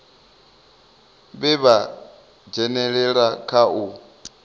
vhe vha dzhenelela kha u